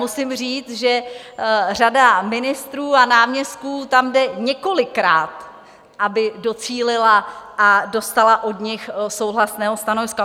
Musím říct, že řada ministrů a náměstků tam jde několikrát, aby docílila a dostala od nich souhlasné stanovisko.